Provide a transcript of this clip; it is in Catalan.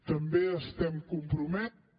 també estem compromesos